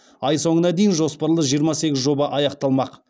ай соңына дейін жоспарлы жиырма сегіз жоба аяқталмақ